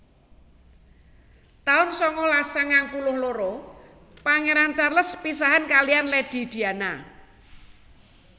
taun sangalas sangang puluh loro Pangéran Charles pisahan kaliyan Lady Diana